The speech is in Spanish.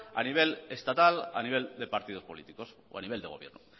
a nivel estatal a nivel de partidos políticos o a nivel de gobierno